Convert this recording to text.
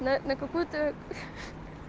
на на какую-то